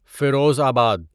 فیروز آباد